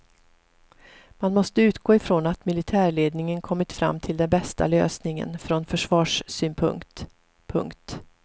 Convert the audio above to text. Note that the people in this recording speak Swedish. Man måste utgå ifrån att militärledningen kommit fram till den bästa lösningen från försvarssynpunkt. punkt